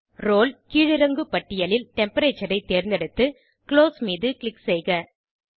role கீழிறங்கு பட்டியலில் temperature ஐ தேர்ந்தெடுத்து குளோஸ் மீது க்ளிக் செய்க